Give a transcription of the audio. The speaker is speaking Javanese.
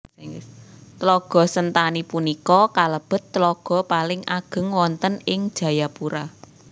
Tlaga Sentani punika kalebet tlaga paling ageng wonten ing Jayapura